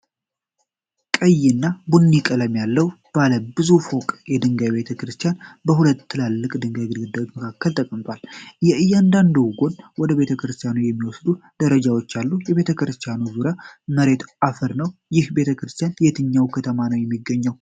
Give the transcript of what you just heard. ቀይና ቡኒ ቀለም ያለው ባለ ብዙ ፎቅ የድንጋይ ቤተ ክርስቲያን በሁለት ትላልቅ የድንጋይ ግድግዳዎች መካከል ተቀምጧል። በእያንዳንዱ ጎን ወደ ቤተክርስቲያኑ የሚወስዱ ደረጃዎች አሉ። የቤተ ክርስቲያኑ ዙሪያ መሬት አፈር ነው። ይህ ቤተክርስቲያን የትኛው ከተማ ነው የሚገኘው?